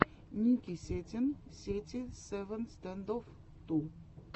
ники сетин сети севен стэндофф ту